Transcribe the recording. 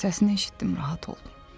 Səsini eşitdim, rahat oldum.